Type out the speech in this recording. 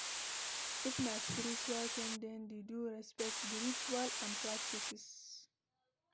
If na spiritual things dem de do respect di rituals and practices